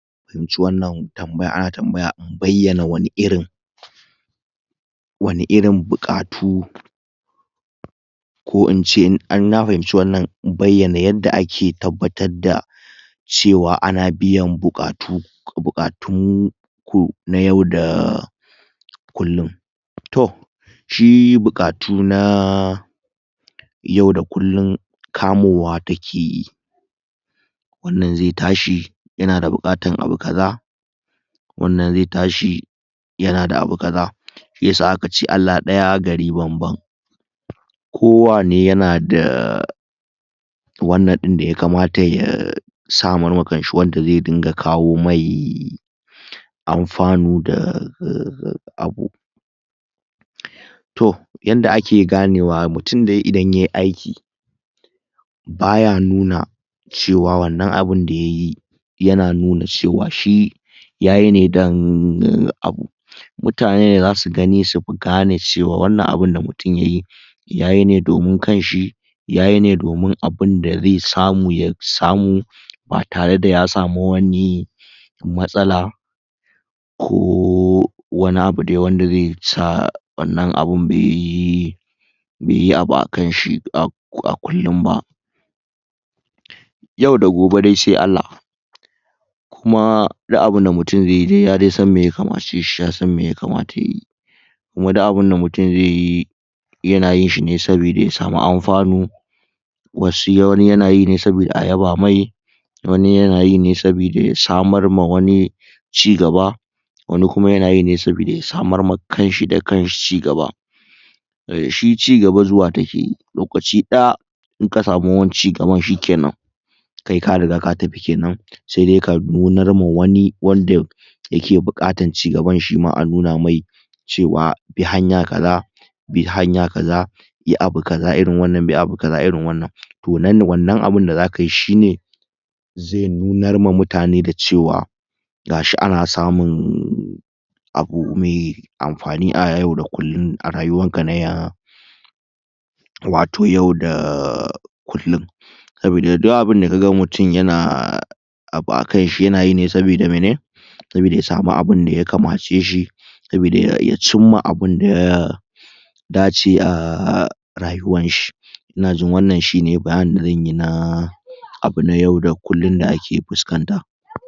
na fahimci wannan tambaya ana tambayan a bayyana wani irin wani irin buƙatu ko ince in na fahimci wannan bayyana yanda ake tabbatar da cewa ana biyan buƙatun ko bukatu ko na yau da kullum toh shi buƙatu na yau da kullum kamowa takeyi wannan zai tashi yanada buƙatan abu kaza wannan zai tashi yanada abu kaza Shiyasa akace Allah daya gari banban kowanne yana da wannan dinda yakamata ya samar ma kanshi wanda zai dinga kawomai anfanu da abu to yanda ake ganewa mutum Idan Yayi aiki baya nuna cewa wannan abun da yayi yana nuna cewa shi yayi ne don abu mutane ne zasu gani su gane cewa wannan abu da mutum Yayi, yayine domin kanshi yayine domin abunda zai samu ya samu ba tareda ya samu wani matsala ko wani abu dai wanda zai sa wannan abun Bai yi abu akanshi a kullum ba yau da gobe dai sai Allah Kuma duk abunda Mutum zai yi yasandai me ya kamace shi yasan me yakamata Yayi kuma duk abunda mutum zai yi yanayinshi ne domin ya samu anfanu Wani yana yi ne saboda a yaba mai wani yana yi ne saboda ya samar ma wani cigaba wani kuma yanayi ne saboda ya samar ma kanshi da kanshi cigaba shi cigaba zuwa takeyi lokaci daya inka samu cigaban shikenan kai ka riga ka tafi kenan sai ka nunama wani wanda yake yake buƙatar cigaban shima a nunamai cewa bi hanya kaza bi hanya kaza yi abu kaza irin wannan bi abu kaza irin wannan toh wannan abun da zakayi shine zai nunarma ma mutane dacewa gashi ana samun abu mai anfani a yau da kullum a rayuwanka na wato yau da kullum saboda duk abun da ka ga mutum yana abu akanshi yana yi ne saboda saboda ya samu abunda ya kamace shi saboda ya cinma abunda ya dace a rayuwanshi. Inaji wannan shine bayaninda zanyi akan abu na yau da kullum da ake fuskanta.